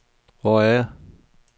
Hvor er jeg